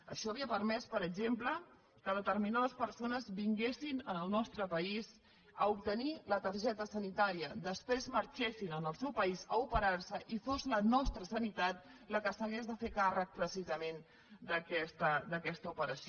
això havia permès per exemple que determinades persones vinguessin al nostre país a obtenir la targeta sanitària després marxessin al seu país a operar se i fos la nostra sanitat la que s’hagués de fer càrrec precisament d’aquesta operació